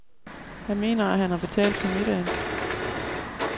Han mener, at han har betalt for middagen.